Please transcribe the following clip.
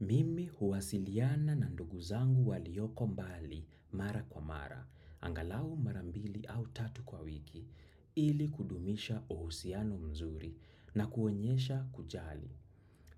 Mimi huwasiliana na ndugu zangu walioko mbali mara kwa mara, angalau mara mbili au tatu kwa wiki, ili kudumisha uhusiano mzuri na kuonyesha kujali.